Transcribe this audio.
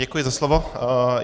Děkuji za slovo.